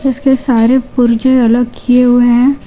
उसके सारे पुर्जे अलग किए हुए हैं।